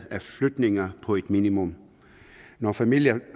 af flytninger på et minimum når familier